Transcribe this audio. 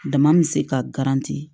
Dama bɛ se ka